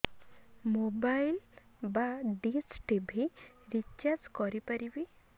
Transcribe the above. mobile ବା dish TV recharge କରି ପାରିବି